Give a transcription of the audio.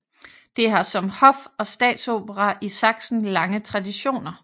Det har som hof og statsopera i Sachsen lange traditioner